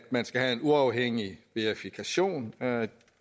man skal have en uafhængig verifikation af